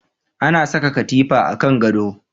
Ana saka katifa a kan gado